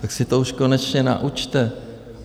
Tak se to už konečně naučte.